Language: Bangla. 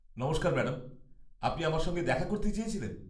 নমস্কার ম্যাডাম, আপনি আমার সঙ্গে দেখা করতে চেয়েছিলেন?